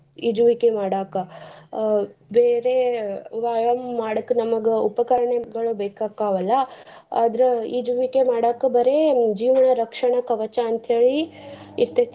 ಈಜುವಿಕೆ ಮಾಡಾಕ ಅಹ್ ಬೇರೆ ವ್ಯಾಯಾಮ ಮಾಡಕ್ ನಮ್ಗ ಉಪಕರ್ಣಗಳ ಬೇಕಾಕವಲ್ಲ ಆದ್ರ ಈಜುವಿಕೆ ಮಾಡಾಕ ಬರೇ ಜೀವನ ರಕ್ಷಣ ಕವಚ ಅಂತೇಳಿ ಇರ್ತೇತಿ.